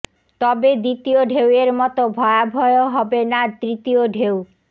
তবে দ্বিতীয় ঢেউয়ের মতো ভয়াবহ হবে না তৃতীয় ঢেউ